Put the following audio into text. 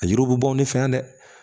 A yiriw bi bɔ ne fɛ yan dɛ